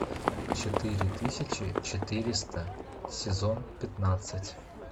четыре тысячи четыреста сезон пятнадцать